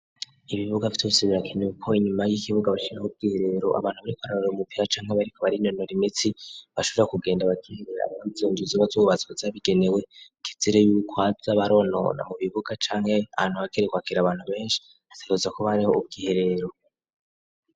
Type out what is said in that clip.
Ibibuga vyosebirakine uko inyuma y'ikibuga bakhirako ubwihereero abantu bari ko ararora umupiya canke bariko bari inonora imitsi bashura kugenda bakiherera kzenjur z'gazubbatswa zabigenewe kizire yukoavya baronona mu bibuga canke antu abagerekwakera abantu benshi siruzako bariho ubwiherero.